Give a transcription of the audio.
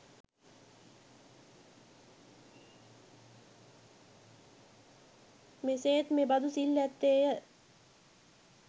මෙසේ ත් මෙබඳු සිල් ඇත්තේ ය.